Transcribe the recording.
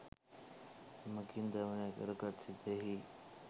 එමඟින් දමනය කරගත් සිතෙහි